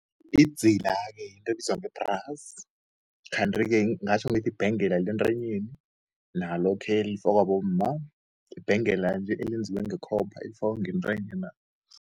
Idzila-ke yinto ebizwa ngebhrasi, kanti-ke ngatjho ngithi ibhengela le ntanyeni nalokhe elifakwa bomma. Ibhengela nje, eyenziwe ngekhopha elifakwa ngentanyena.